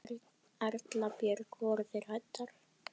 Erla Björg: Voruð þið hræddar?